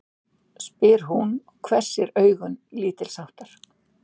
spyr hún og hvessir augun lítilsháttar.